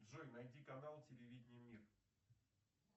джой найди канал телевидения мир